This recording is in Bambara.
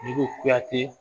Dugu kuyate